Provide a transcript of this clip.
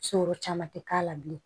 Sinikɔru caman tɛ k'a la bilen